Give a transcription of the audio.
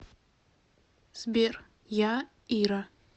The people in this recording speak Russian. сбер я ира